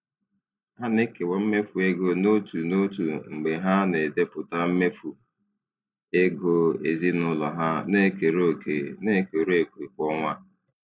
Ha na-ekewa mmefu ego n'otu n'otu mgbe ha na-edepụta mmefu ego ezinụlọ ha na-ekere òkè na-ekere òkè kwa ọnwa.